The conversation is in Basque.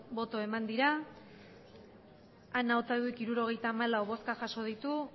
boto eman dira ana otadui hirurogeita hamalau bozka jaso ditu